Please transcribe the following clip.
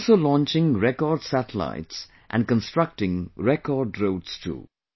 We are also launching record satellites and constructing record roads too